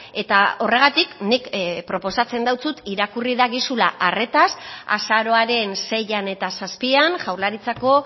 eta horregatik nik proposatzen deutsut irakurri dagizula arretaz azaroaren seian eta zazpian jaurlaritzako